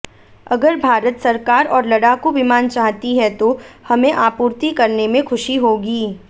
अगर भारत सरकार और लड़ाकू विमान चाहती है तो हमें आपूर्ति करने में खुशी होगी